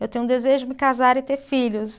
Eu tenho um desejo de me casar e ter filhos.